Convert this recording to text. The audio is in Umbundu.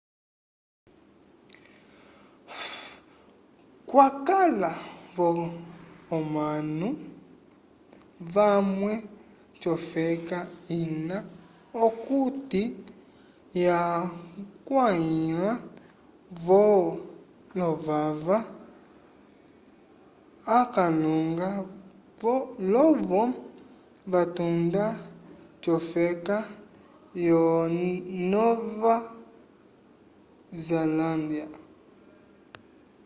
kwakala vo omanu vamwe cofeka ina okuti yagwaliha vo lovava akalunga lovo vatunda cofeka yo nova zalândya